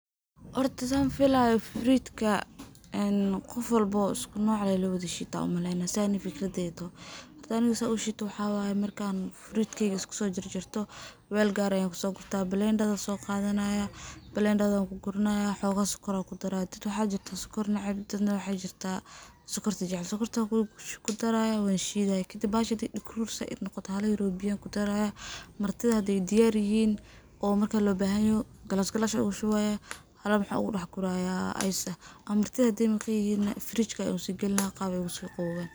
Xorta san filayo fruit ka, een gofwalbo iskunoc eh in lashita ayan umaleyna, saa ani fikradeyta ay toxo, xor aniga saan ushitoo waxa waye, markan fruit keyga iskusojarjarto, wel qar eh ayan kusoqurta blender ayan soqadanaya, blender wankuguranaya, xoogo sokar ayan kudaraya, dad waxa jirto sokor neceb, daad waxa jirta sokorta jecel, sokorta kudarayaa wanshidaya kadib baxasha xadaay dagrur zaid nogoto, xala yar oo biya ayan kudaraya, martida xaday diyar yixiin, oo marka lobaxanyoxo glass ayan ogushuwaya, xala waxan ogu daxguraya ice ah, marti xadaay maqanyixin nah fridge ayan usidaxgalinaya qaab ay ogusoqawowan.